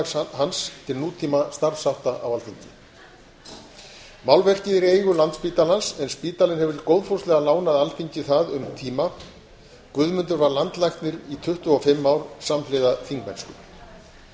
framlag hans til nútímastarfshátta á alþingi málverkið er í eigu landspítalans en spítalinn hefur góðfúslega lánað alþingi það um tíma guðmundur var landlæknir í tuttugu og fimm ár samhliða þingmennsku